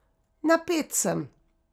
Napet sem.